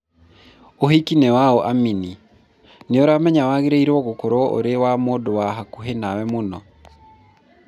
ũhiki nĩwaũ Amini, nĩũramenya wagĩrĩirwo gũkorwo ũrĩ wa mũndũ wa hakuhĩ nawe mũno